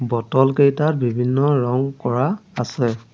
Bottle কেইটাত বিভিন্ন ৰং কৰা আছে।